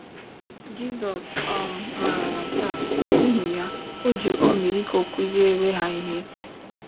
Jizọs um maara nke a, n’ihi ya, o ji ọmịiko kụziere ha ihe.